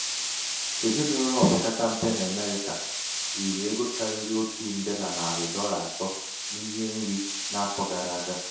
èzinàụ̀lọ̀ opekata m̀pe n’àmerị̄kà rìrì ego kàrịrị otù ǹdè nà nàrị̀ dọla àtọ n’ihe nri n’afọ̄ gara àga.